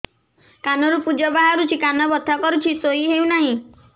କାନ ରୁ ପୂଜ ବାହାରୁଛି କାନ ବଥା କରୁଛି ଶୋଇ ହେଉନାହିଁ